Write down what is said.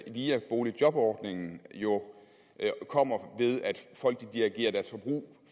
via boligjobordningen jo kommer ved at folk dirigerer deres forbrug